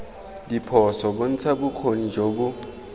diphoso bontsha bokgoni jo bo